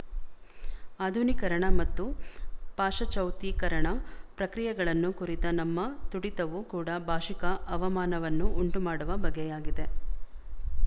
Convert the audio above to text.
ಆಧುನೀಕರಣ ಮತ್ತು ಪಾಶಚಾತ್ಯೀಕರಣ ಪ್ರಕ್ರಿಯೆಗಳನ್ನು ಕುರಿತ ನಮ್ಮ ತುಡಿತವು ಕೂಡ ಭಾಶಿಕ ಅವಮಾನವನ್ನು ಉಂಟುಮಾಡುವ ಬಗೆಯಾಗಿದೆ